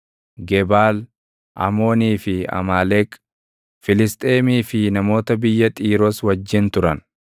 Gebaal, Amoonii fi Amaaleq, Filisxeemii fi namoota biyya Xiiroos wajjin turan.